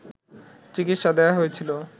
চিকিৎসা দেয়া হয়েছিল